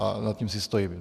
A za tím si stojím.